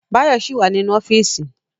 Báyọ̀ ṣì wà nínú ọ́fíìsì